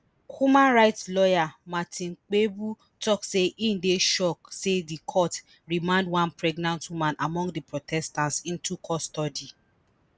human rights lawyer martin kpebu tok say im dey shocked say di court remand one pregnant woman among di protesters into custody